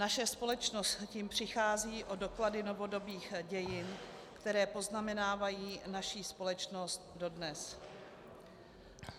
Naše společnost tím přichází o doklady novodobých dějin, které poznamenávají naší společnost dodnes.